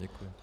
Děkuji.